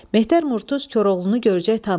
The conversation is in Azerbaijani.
Mehter Murtuz Koroğlunu görcək tanıdı.